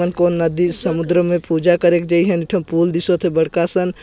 कोन कोन नदी समुद्र में पूजा करेक दे हवे एक ठिन पुल दिशत हे बड़का असन--